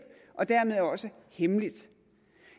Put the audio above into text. og dermed også hemmeligt